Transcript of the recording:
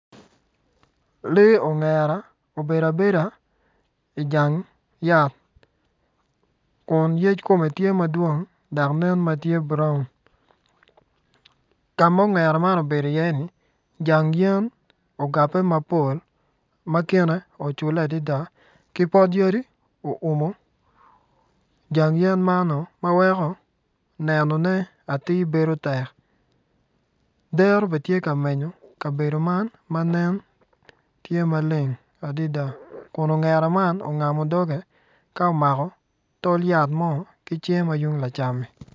Lee ongera obedo abeda ijang yat kun yec kome tye madwong dok tye brown ka ma ongera man obedo i iye ni jang yen ogape mapol ma kine ocule adada ki pot yadi oumo jang yen man ma weko nenone atir bedo yot dero ben tye ka menyo kabedo man matye maleng adada kun ongera man ongamo doge ka omako tol yat mo ki cinge ma tung lacammi.